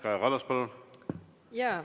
Kaja Kallas, palun!